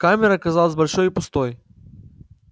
камера казалась большой и пустой